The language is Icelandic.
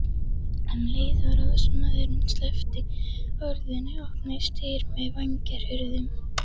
Um leið og ráðsmaðurinn sleppti orðinu opnuðust dyr með vængjahurðum.